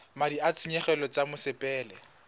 madi a ditshenyegelo tsa mosepele